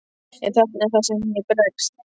En þarna er það sem ég bregst.